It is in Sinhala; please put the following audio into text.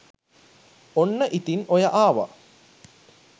ඔන්න ඉතින් ඔය ආව